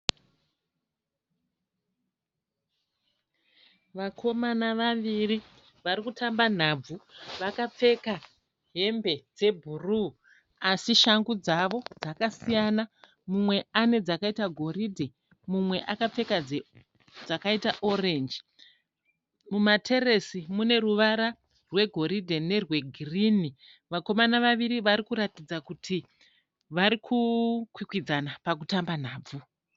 Vakomana vaviri vari kutamba nhabvu vakapfeka hembe dzebhuruu asi shangu dzavo dzakasiyana. Mumwe ane dzakaita goridhe mumwe akapfeka dzakaita orenji. Mumateresi mune ruvara rwegoridhe nerwegirini. Vakomana vaviri vari kuratidza kuti vari kukwikwidzana pakutamba nhabvu.